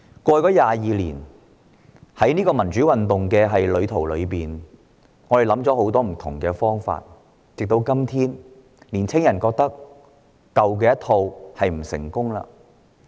過去22年，我們在民主路上想過很多不同方法，但時至今日，青年人認為舊有方式並不成功。